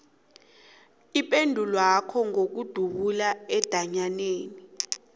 ipendulwakho ngokudzubhula endatjaneni